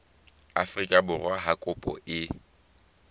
afrika borwa ha kopo e